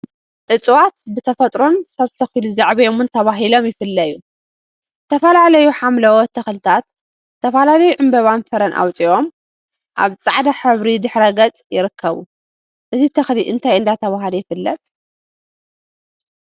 እፅዋት ብተፈጥሮን ሰብ ተኪሉ ዘዕብዮምን ተባሂሎም ይፈለዩ፡፡ ዝተፈላለዩ ሓምለዎት ተክሊታት ዝተፈላለዩ ዕምበባን ፍረን አውፅኦም አብ ፃዕዳ ሕብሪ ድሕረ ገፅ ይርከቡ፡፡ እዚተክሊ እንታይ እንዳተብሃለ ይፍለጥ?